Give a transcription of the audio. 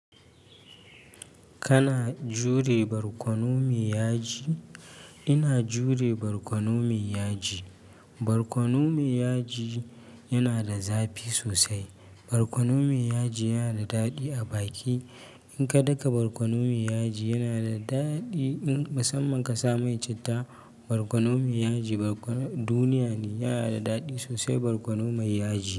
Kana jure barkono mai yaji? Ina jure barkono mai yaji. Barkono mai yaji yana da zafi sosai. Barkono mai yaji yana da daɗi a baki. In ka daka barkono mai yaji yana da daɗi. In musamman ka sa mai citta barkono mai yaji, borkono duniya ne. Yana da daɗi sosai barkono mai yaji.